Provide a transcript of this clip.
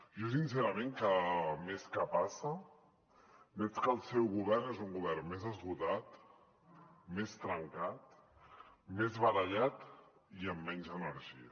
jo sincerament cada mes que passa veig que el seu govern és un govern més esgotat més trencat més barallat i amb menys energia